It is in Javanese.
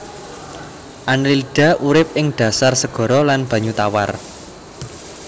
Annelida urip ing dhasar segara lan banyu tawar